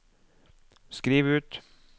skriv ut